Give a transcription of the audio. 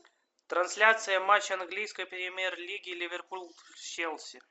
трансляция матча английской премьер лиги ливерпуль челси